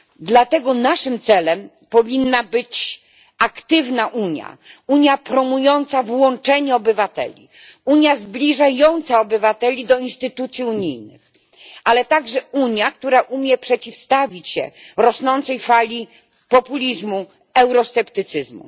Dlatego naszym celem powinna być aktywna Unia, Unia promująca włączenie obywateli, Unia zbliżająca obywateli do instytucji unijnych, ale i Unia, która umie przeciwstawić się rosnącej fali populizmu i eurosceptycyzmu.